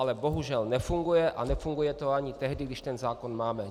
Ale bohužel nefunguje - a nefunguje to ani tehdy, když ten zákon máme.